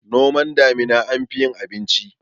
noman damina anfi yin abinci